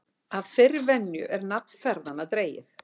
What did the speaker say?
Af þeirri venju er nafn ferðanna dregið.